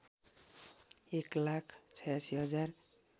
एक लाख ८६ हजार